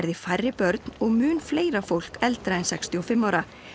færri börn og mun fleira fólk eldra en sextíu og fimm ára